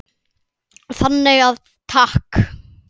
Þannig að takk.